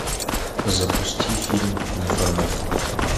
запусти фильм неформат